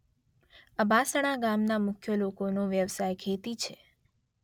અબાસણા ગામના મુખ્ય લોકોનો વ્યવસાય ખેતી છે